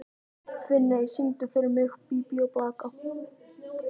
Finney, syngdu fyrir mig „Bí bí og blaka“.